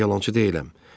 Mən yalançı deyiləm.